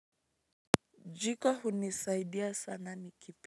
Jiko hunisaidia sana nikipi.